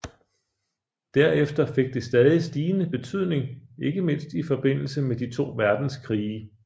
Derefter fik det stadig stigende betydning ikke mindst i forbindelse med de to verdenskrige